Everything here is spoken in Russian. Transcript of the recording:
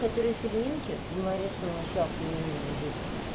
которые с ильинки говорят что он вообще ахуенный мужик